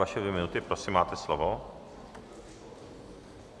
Vaše dvě minuty, prosím, máte slovo.